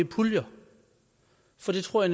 puljer for det tror